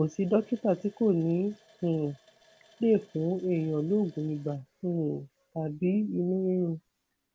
kò sì dókítà tí kò ní í um lè fún èèyàn lóògùn ibà um tàbí inú rírun